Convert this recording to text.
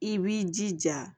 I b'i jija